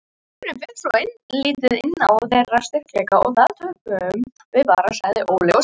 Leikurinn fer svolítið inn á þeirra styrkleika og þar töpum við bara, sagði Óli Stefán.